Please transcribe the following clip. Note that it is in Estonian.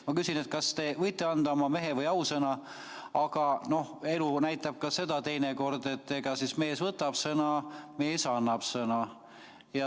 Ma küsin, kas te võite anda oma mehe- või ausõna, aga elu näitab ka seda teinekord, et mees annab sõna, mees võtab sõna.